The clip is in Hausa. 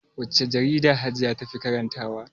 Wacce jarida hajiya tafi karanta wa?